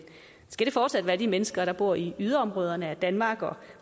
skal det fortsat være de mennesker der bor i yderområderne af danmark og